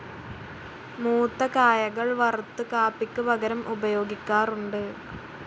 മൂത്ത കായകൾ വറുത്ത് കാപ്പിക്ക് പകരം ഉപയോഗിക്കാറുണ്ട്.